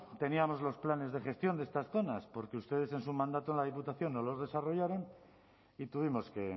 teníamos los planes de gestión de estas zonas porque ustedes en su mandato en la diputación no los desarrollaron y tuvimos que